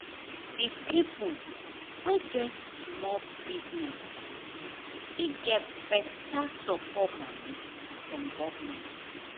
the pipo wey get small business fit get better support moni from government.